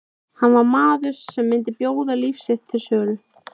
Hann var maður sem myndi bjóða líf sitt til sölu.